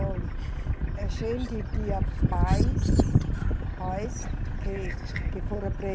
Olhe, a gente tinha pais, pais que, que foram